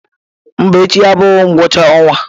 Mba echi abụghị ngwụcha ọnwa.